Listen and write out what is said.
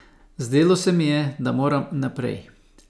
Zdelo se mi je, da moram naprej.